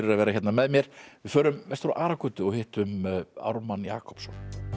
að vera hérna með mér við förum vestur á Aragötu og hittum Ármann Jakobsson